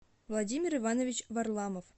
владимир иванович варламов